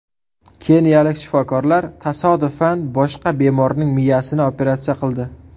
Keniyalik shifokorlar tasodifan boshqa bemorning miyasini operatsiya qildi.